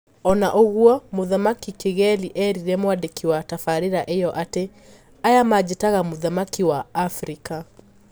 Ona ũgwo, mũthamaki Kigeli erire mwandĩkĩ wa tafarira iyo ati: "Aya manjitaga muthamaki wa Afrika. "